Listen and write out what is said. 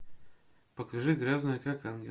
покажи грязная как ангел